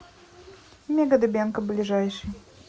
мега дыбенко ближайший